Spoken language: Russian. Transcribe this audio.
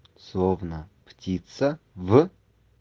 словно птица в